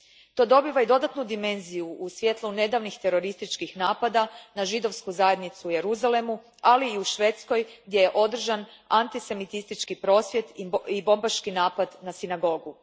To dobiva i dodatnu dimenziju u svjetlu nedavnih terorističkih napada na židovsku zajednicu u Jeruzalemu, ali i u Švedskoj gdje je održan antisemitistički prosvjed i bombaški napad na sinagogu.